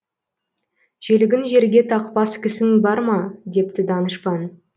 желігін жерге тақпас кісің барма депті данышпан